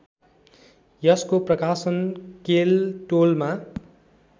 यसको प्रकाशन केलटोलमा